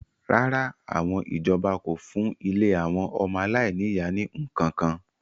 rárá, àwọn ìjọba kò fún ilé àwọn ọmọ aláìní-ìyá ní ǹkan kan